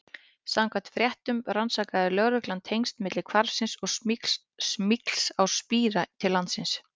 Samkvæmt fréttum rannsakaði lögreglan tengsl milli hvarfsins og smygls á spíra til landsins.